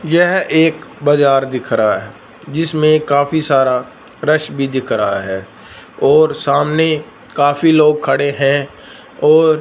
यह एक बाजार दिख रहा जिसमें काफी सारा क्रश भी दिख रहा है और सामने काफी लोग खड़े हैं और--